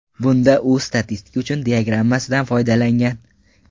Bunda u statistika uchun diagrammasidan foydalangan.